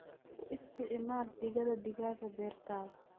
Ku isticmaal digada digaaga beertaada.